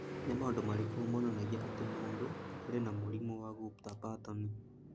Nĩ maũndũ marĩkũ monanagia atĩ mũndũ arĩ na mũrimũ wa Gupta Patton?